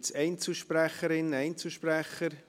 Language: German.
Gibt es Einzelsprecherinnen, Einzelsprecher?